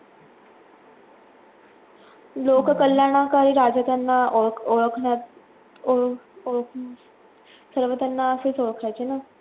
लोक कल्याणाकडे राजा त्यांना ओळख ओळखण्यात ओळख ओळख सर्व त्यांना असचं ओळखायचे ना